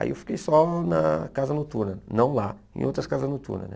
Aí eu fiquei só na Casa Noturna, não lá, em outras Casas Noturnas né.